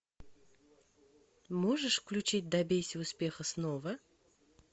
можешь включить добейся успеха снова